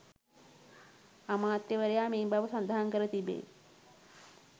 අමාත්‍යවරයා ‍මේ බව ස‍ඳහන් කර තිබේ